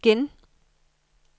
igen